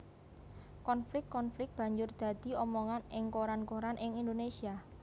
Konflik konflik banjur dadi omongan ing koran koran ing Indonésia